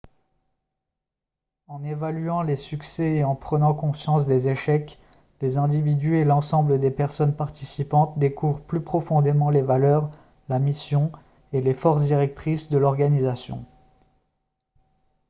en évaluant les succès et en prenant conscience des échecs les individus et l'ensemble des personnes participantes découvrent plus profondément les valeurs la mission et les forces directrices de l'organisation